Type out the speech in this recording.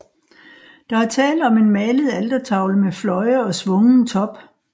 Der er tale om en malet altertavle med fløje og svungen top